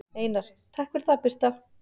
Einar: Takk fyrir það Birta.